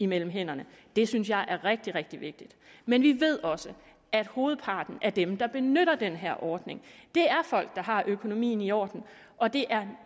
mellem hænderne det synes jeg er rigtig rigtig vigtigt men vi ved også at hovedparten af dem der benytter den her ordning er folk der har økonomien i orden og det er